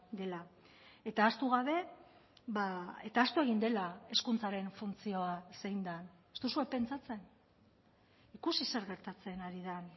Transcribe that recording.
dela eta ahaztu gabe eta ahaztu egin dela hezkuntzaren funtzioa zein den ez duzue pentsatzen ikusi zer gertatzen ari den